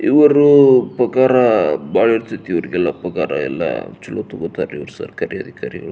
ಇವರು ಪೊಗರ ಬಹಳ ಇರ್ತಾಹಿತಿ ಇವ್ರಿಗೆಲ್ಲ ಪೊಗರ ಎಲ್ಲ ಸರ್ಕಾರೀ ಅಧಿಕಾರಿಗಳು.